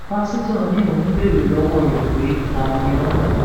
pásítọ ni òun béèrè lọwọ rẹ pé ta ni o